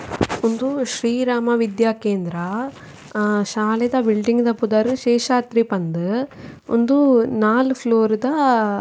ಉಂದು ಶ್ರೀ ರಾಮ ವಿದ್ಯಾ ಕೇಂದ್ರ ಅ ಶಾಲೆದ ಬಿಲ್ಡಿಂಗ್ ದ ಪುದರ್ ಶೇಷಾದ್ರಿ ಪಂದ್ ಉಂದ್ ನಾಲ್ ಫ್ಲೋರ್ ದ --